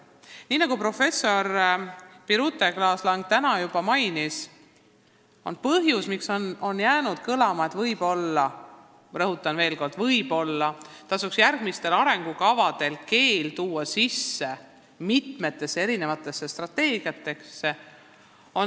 Nii nagu professor Birute Klaas-Lang juba märkis, võib-olla – rõhutan veel kord, et võib-olla – tasuks järgmistes arengukavades keel strateegiatesse sisse tuua.